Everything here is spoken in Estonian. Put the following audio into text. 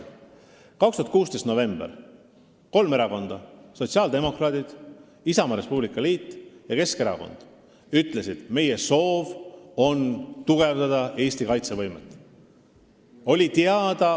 2016. aasta novembris ütlesid kolm erakonda – sotsiaaldemokraadid, Isamaa ja Res Publica Liit ja Keskerakond –, et meie soov on tugevdada Eesti kaitsevõimet.